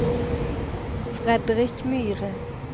Fredrik Myhre